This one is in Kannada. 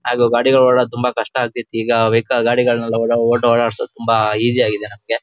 ಆಗ ಗಾಡಿಗಳು ಓಡಾಡೋದು ತುಂಬಾ ಕಷ್ಟ ಆಗ್ತಿತ್ತು ಈಗ ವೇಕ ಗಾಡಿಗಳನ್ನು ಓಡಾಡಸೋದು ತುಂಬಾ ಈಜಿ ಆಗಿದೆ ನಮ್ಗೆ.